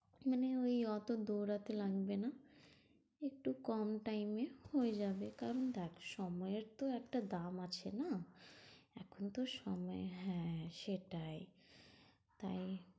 মানে ঐ অত দৌঁড়াতে লাগবে না, একটু কম time এ হয়ে যাবে। কারণ দেখ সময়ের তো একটা দাম আছে না? এখন তো সময়, হ্যাঁ হ্যাঁ সেটাই। তাই